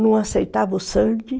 Não aceitava o sangue.